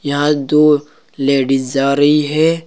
यहां दो लेडीज जा रही है।